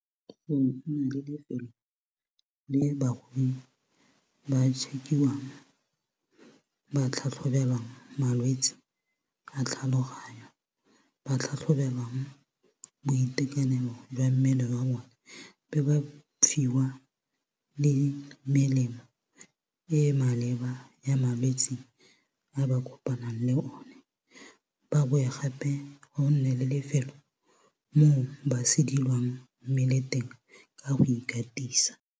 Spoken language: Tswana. Go ne go na le le lefelo le barui ba check-iwang ba tlhatlhobelwang malwetsi a tlhaloganyo ba tlhatlhobelang boitekanelo jwa mmele wa bone be ba fiwa le melemo e maleba ya malwetsi a ba kopanang le o ne ba bowe gape go nne le lefelo mo ba sedilwang mmele teng ka go ikatisa.